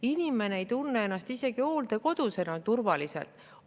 Inimene ei tunne ennast isegi hooldekodus enam turvaliselt.